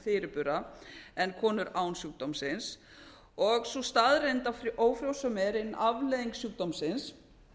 fyrirbura en konur án sjúkdómsins og sú staðreynd að ófrjósemi er ein afleiðing sjúkdómsins